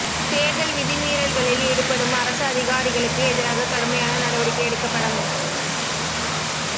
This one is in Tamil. தேர்தல் விதி மீறல்களில் ஈடுபடும் அரச அதிகாரிகளுக்கு எதிராக கடுமையான நடவடிக்கை எடுக்கப்படும்